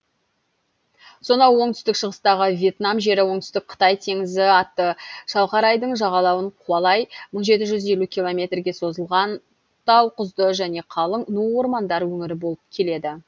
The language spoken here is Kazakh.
сонау оңтүстік шығыстағы вьетнам жері оңтүстік қытай теңізі атты шалқар айдын жағалауын қуалай мың жеті жүз елу километрге созылған тауқұзды және қалың ну ормандар өңірі болып келеді